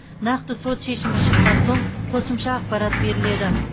нақты сот шешімі шыққан соң қосымша ақпарат беріледі